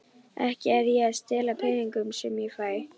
Ekki er ég að stela peningunum sem ég fæ.